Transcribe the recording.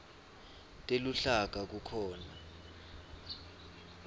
teluhlaka kukhona